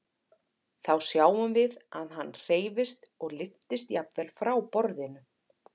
Þá sjáum við að hann hreyfist og lyftist jafnvel frá borðinu.